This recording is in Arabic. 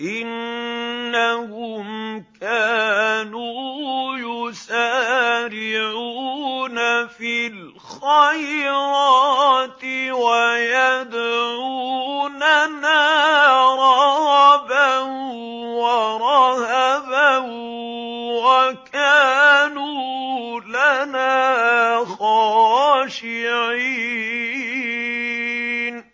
إِنَّهُمْ كَانُوا يُسَارِعُونَ فِي الْخَيْرَاتِ وَيَدْعُونَنَا رَغَبًا وَرَهَبًا ۖ وَكَانُوا لَنَا خَاشِعِينَ